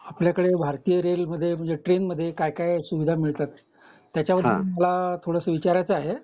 आपल्या कडे भारतीय रेल मध्ये म्हणजे ट्रेन मध्ये काय काय सुविधा मिळतात त्याचाबद्दल त्याचाबद्दल मला थोडंसं विचारायचं आहे